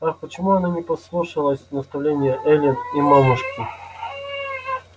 ах почему она не послушалась наставлении эллин и мамушки